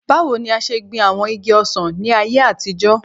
Bawo ni a ṣe gbin awọn igi ọsàn ni ayé àtijọ́